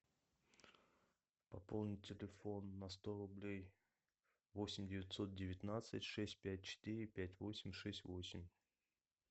пополнить телефон на сто рублей восемь девятьсот девятнадцать шесть пять четыре пять восемь шесть восемь